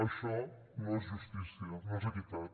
això no és justícia no és equitat